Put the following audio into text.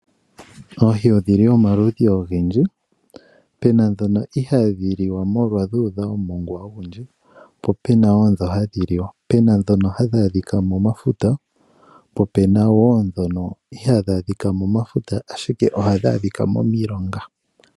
Oohi odhili omaludhi ogendji pena dhoka inadhi li wa molwa dhu udha omongwa ogundji po pena wo dho hadhi li wa pena dhoka hadhi adhika momafuta po pena wo dho ihadha adhika momafuta ashike ohadhi adhika momilonga.